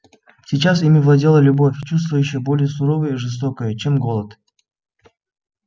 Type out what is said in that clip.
сейчас ими владела любовь чувство ещё более суровое и жестокое чем голод